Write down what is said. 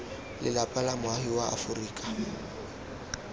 lelapa la moagi wa aforika